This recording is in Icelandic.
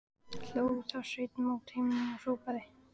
Hló þá Sveinn mót himninum og hrópaði: